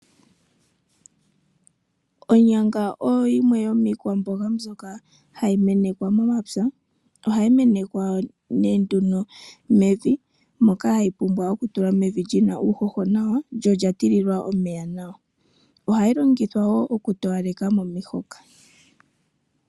Onyanga oyo yimwe yomiikwamboga mbyoka hayi menekwa momapya. Ohayi menekwa nee nduno mevi moka hayi pumbwa okutulwa mevi lyina uuhoho nawa, lyo olya tililwa omeya nawa. Ohayi longithwa wo oku towaleka momihoka